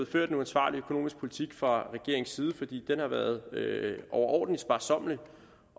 ført en uansvarlig økonomisk politik fra regeringens side for den har været overordentlig sparsommelig